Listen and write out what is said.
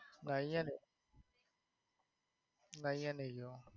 ના ઇયાં નઈ ના ઇયા નઈ જ્યો.